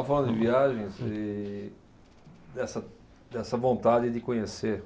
Estava falando de viagens e dessa, dessa vontade de conhecer